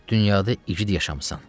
Dünyada igid yaşamısan.